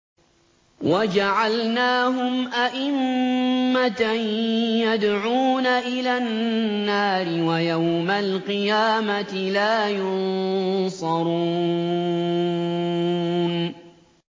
وَجَعَلْنَاهُمْ أَئِمَّةً يَدْعُونَ إِلَى النَّارِ ۖ وَيَوْمَ الْقِيَامَةِ لَا يُنصَرُونَ